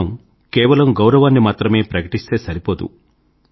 వారికి మనం కేవలం గౌరవాన్ని మాత్రమే ప్రకటిస్తే సరిపోదు